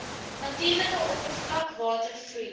natuurlike oppervlakwater vloei